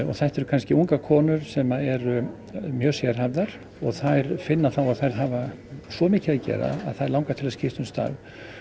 þetta eru ungar konur sem eru mjög sérhæfðar og þær finna að þær hafa svo mikið að gera að þær langar til að skipta um starf